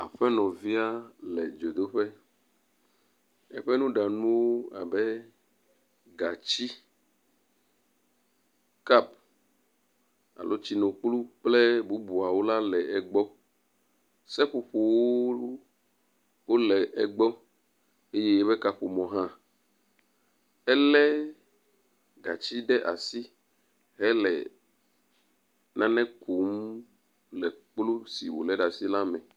Aƒenɔvia le dzodoƒe, eƒe nuɖanuwo abe gatsi, kap alo tsinukplu kple bubuwo la le egbɔ, seƒoƒowo wole egbɔ eye eƒe kaƒomɔwo hã, elé gatsi ɖe asi hele nane kum le kplu si wòlé ɖe asi la me.